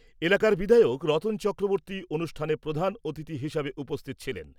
এলাকার বিধায়ক রতন চক্রবর্তী অনুষ্ঠানে প্রধান অতিথি হিসেবে উপস্থিত ছিলেন।